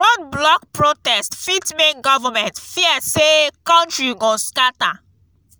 road block protest fit make government fear say country go scatter